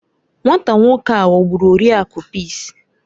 Nwata nwoke a ghọgburu Oriakụ Peace